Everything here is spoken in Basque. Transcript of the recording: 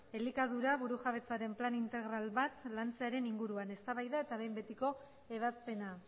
elikadura burujabetzaren plan integral bat lantzearen inguruan eztabaida eta behin betiko ebazpena